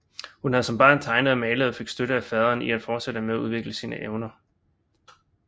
Hun havde som barn tegnet og malet og fik støtte af faderen i at fortsætte med at udvikle sine evner